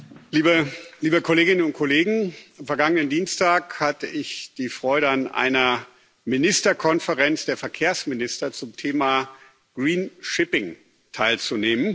Herr Präsident, liebe Kolleginnen und Kollegen! Am vergangenen Dienstag hatte ich die Freude, an einer Ministerkonferenz der Verkehrsminister zum Thema teilzunehmen.